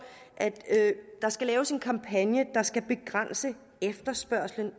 at der skal laves en kampagne der skal begrænse efterspørgslen